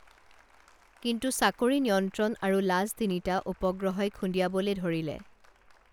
কিন্তু চাকৰি নিমন্ত্ৰণ আৰু লাজ তিনিটা উপগ্ৰহই খুন্দিয়াবলে ধৰিলে